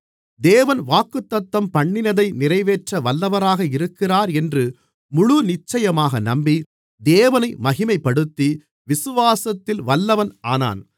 தேவன் வாக்குத்தத்தம்பண்ணினதை நிறைவேற்ற வல்லவராக இருக்கிறார் என்று முழுநிச்சயமாக நம்பி தேவனை மகிமைப்படுத்தி விசுவாசத்தில் வல்லவன் ஆனான்